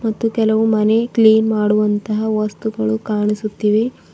ಕೆಲವು ಮನೆ ಕ್ಲೀನ್ ಮಾಡುವಂತಹ ವಸ್ತುಗಳು ಕಾಣಿಸುತ್ತಿವೆ.